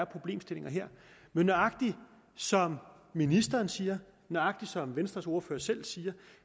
problemstilling her men nøjagtig som ministeren siger nøjagtig som venstres ordfører selv siger